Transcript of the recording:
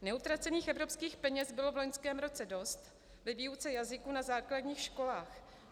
Neutracených evropských peněz bylo v loňském roce dost ve výuce jazyků na základních školách.